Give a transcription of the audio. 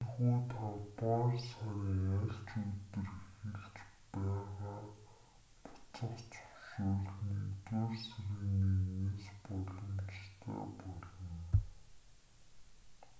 ийнхүү тавдугаар сарын аль ч өдөр эхэлж байгаа буцах зөвшөөрөл нэгдүгээр сарын 1-с боломжтой болно